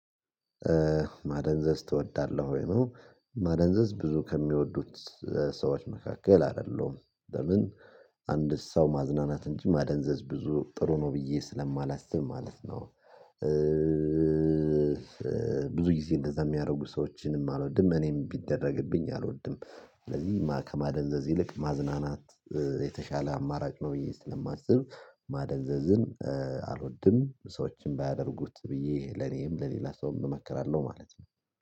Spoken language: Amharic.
ማደንዘዝ ትወዳለህ ወይ ነው? ማደንዘዝ ብዙ ከሚወዱት ሰዎች መካከል አይደለሁም። ለምን? አንድ ሰው ማዝናናት እንጂ ማደንዘዝ ብዙ ጥሩ ነው ብዬ ስለማላስብ ማለት ነው። ብዙ ይሄ እንደዛ የሚያደርጉ ሰዎችንም አልወድም እኔም ቢደረግብኝ አልወድም። ስለዚህ ከማደንዘዝ ይልቅ ማዝናናት የተሻለ አማራጭ ነው ብዬ ስለማስብ ማደንዘዝን አልወድም። ሰዎችን ባያደርጉት ብዬ ለኔም ለሌላ ሰውም እመክራለሁ ማለት ነው